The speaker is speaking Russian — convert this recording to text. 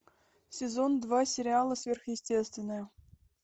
сезон два сериала сверхъестественное